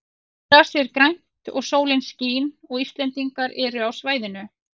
Grasið er grænt og sólin skín og Íslendingar eru á svæðinu.